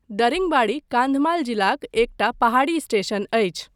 दरिङबाडी कान्धमाल जिलाक एकटा पहाड़ी स्टेशन अछि।